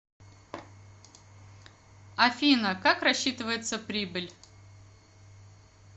афина как рассчитывается прибыль